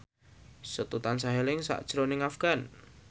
Setu tansah eling sakjroning Afgan